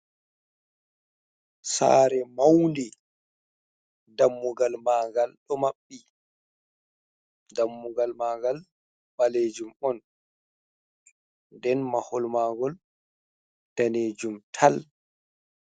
Sare maundi dammugal magal ɗo maɓɓi dammugal mangal ɓalejum on den mahol magol ɗanejum tal.